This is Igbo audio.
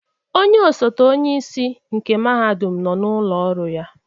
Onye ọsote onyeisi nke mahadum nọ n'ụlọ ọrụ ya.